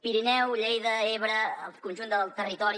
pirineu lleida ebre el conjunt del territori